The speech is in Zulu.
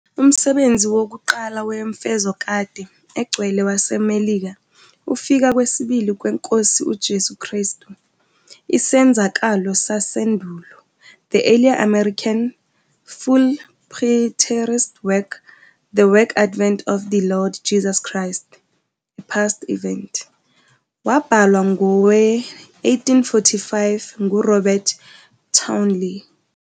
Umsebenzi wokuqala wemfezokade egcwele waseMelika, "Ukufika kwesibili kweNkosi uJesu Kristu- isenzakalo sasendulo", "The earliest American full-preterist work, The Second Advent of the Lord Jesus Christ- A Past Event", wabhalwa ngowe-1845 nguRobert Townley.